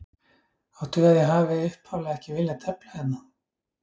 Áttu við að ég hafi upphaflega ekki viljað tefla hérna?